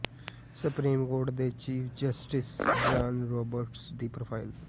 supreme court ਦੇ chief justice John Roberts ਦੀ profile